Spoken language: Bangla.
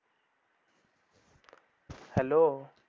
Hello